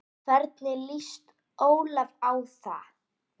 Hvernig lýst Ólafi á það?